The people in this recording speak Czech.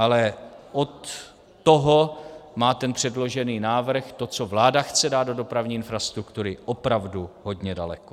Ale od toho má ten předložený návrh, to, co vláda chce dát do dopravní infrastruktury, opravdu hodně daleko.